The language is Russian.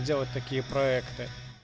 сделать такие проекты